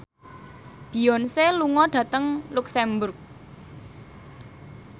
Beyonce lunga dhateng luxemburg